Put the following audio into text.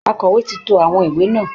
Akọ̀wé ti to àwọn ìwé náà